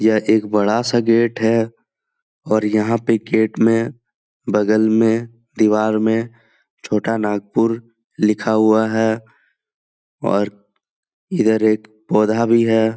यह एक बडा सा गेट है और यहां पे गेट में बगल मे दीवार मे छोटा नागपूर लिखा हुआ है ओर इधर एक पौधा भी है।